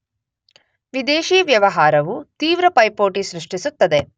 ವಿದೇಶಿ ವ್ಯವಹಾರವು ತೀವ್ರ ಪೈಪೋಟಿ ಸೃಷ್ಟಿಸುತ್ತದೆ.